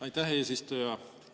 Aitäh, eesistuja!